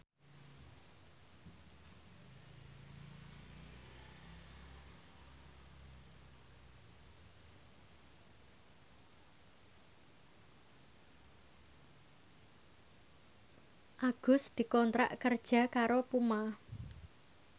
Agus dikontrak kerja karo Puma